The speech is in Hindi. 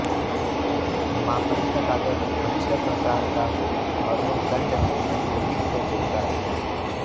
मापनी का कागज अच्छे प्रकार का हो और वह दंड में मजबूती से चिपका रहे